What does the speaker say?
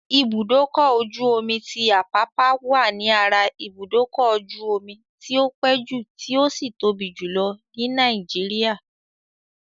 Ibùdókọ̀-ojú-omi ti Àpápá wà ní ara ibùdókọ́-jú-ọmi tí o pé jù tí ó sì tóbi jù ní Nàìgéríà.